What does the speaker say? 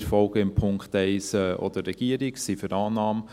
Wir folgen in Punkt 1 auch der Regierung und sind für Annahme.